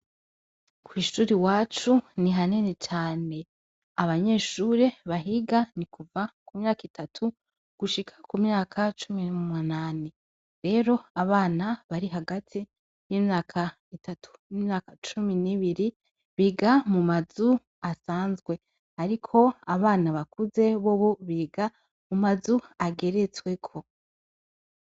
Kw'ishule iwacu ni hanini cane; abanyeshure bahiga ni kuva ku myaka itatu gushika ku myaka cumi n'umunani; rero abana bari hagati y'imyaka itatu n'imyaka cumi n'ibiri biga mu mazu asanzwe; ariko abana bakuze bobo biga mu mazu ageretsweko.